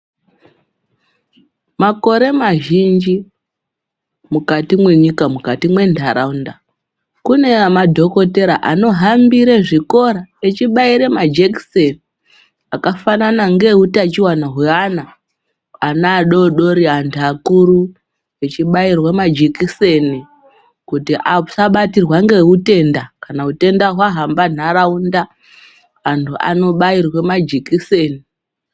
Makore mazhinji mukati mwenyika, mwezvikora, mukati mwentaraunda. Kune madhokotera anohambire zvikora echibaire majekiseni akafanana ngeeutachiwana hweana. Ana adoodori, antu akuru echibairwe majekiseni kuti asabatirwa ngehutenda. Kana utenda hwahambe ntaraunda anhu anobairwe majekiseni.